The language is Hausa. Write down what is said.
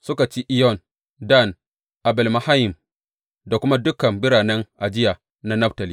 Suka ci Iyon, Dan, Abel Mayim da kuma dukan biranen ajiya na Naftali.